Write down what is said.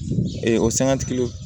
o sangatigiw